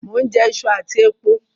Mo n jẹ isu àtí epo